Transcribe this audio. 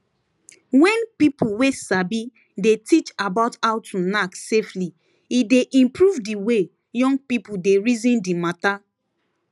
wen people wey sabi dey teach about how to knack safely e dey improve di way young people dey reason di matter